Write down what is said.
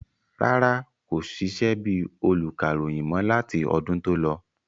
Rárá, kò sisẹ́ bíi olùkàròyìn mọ́ láti ọdún tó lọ